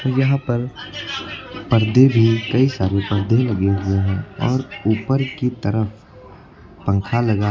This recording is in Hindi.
यहां पर परदे भी कई सारी पर्दे लगे हुए हैं और ऊपर की तरफ पंखा लगा--